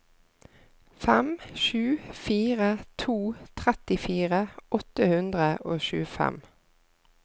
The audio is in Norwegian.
fem sju fire to trettifire åtte hundre og tjuefem